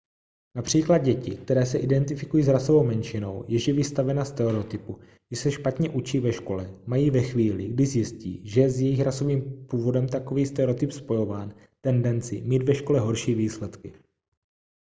například děti které se identifikují s rasovou menšinou jež je vystavena stereotypu že se špatně učí ve škole mají ve chvíli kdy zjistí že je s jejich rasovým původem takový stereotyp spojován tendenci mít ve škole horší výsledky